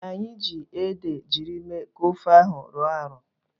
Anyị jiiri ede jiri mee ka ofe ahụ rọọ arọọ.